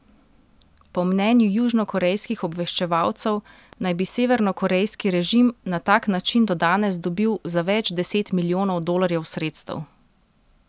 Po mnenju južnokorejskih obveščevalcev naj bi severnokorejski režim na tak način do danes dobil za več deset milijonov dolarjev sredstev.